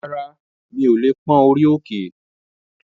Rárá, mi ò lè pón orí òkè